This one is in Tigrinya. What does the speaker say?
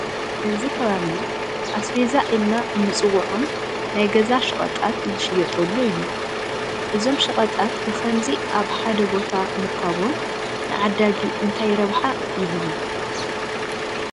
እዚ ከባቢ ኣስቤዛ ኢልና እንፅውዖም ናይ ገዛ ሸቐጣት ዝሽየጡሉ እዩ፡፡ እዞም ሸቐጣት ብኸምዚ ኣብ ሓደ ቦታ ምርካቦም ንዓዳጊ እንታይ ረብሓ ይህቡ?